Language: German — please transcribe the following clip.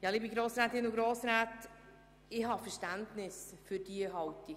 Liebe Grossrätinnen und Grossräte, ich habe Verständnis für diese Haltung.